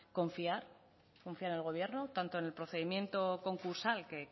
confiar confiar en el gobierno tanto en el procedimiento concursal que